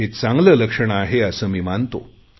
हे चांगले लक्षण आहे असे मी मानतो